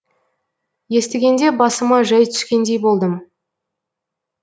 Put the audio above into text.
естігенде басыма жай түскендей болдым